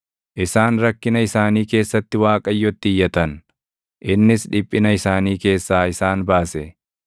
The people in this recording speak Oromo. Isaan rakkina isaanii keessatti Waaqayyotti iyyatan; innis dhiphina isaanii keessaa isaan baase.